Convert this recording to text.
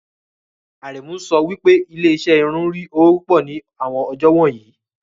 Aremu ń sọ pé ilé-iṣẹ́ irun ń rí owó púpọ̀ ní àwọn ọjọ́ wọ̀nyí.